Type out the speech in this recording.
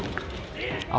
á